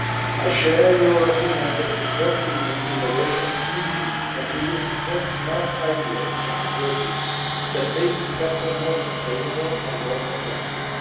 I share your opinion that support to innovation is needed, and we will support smart ideas and approaches that make the sector more sustainable and more competitive.